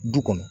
Du kɔnɔ